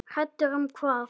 Hræddur um hvað?